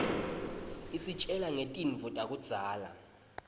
isitjela ngetintfo takudzala